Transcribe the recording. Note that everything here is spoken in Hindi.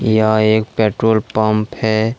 यह एक पेट्रोल पंप है।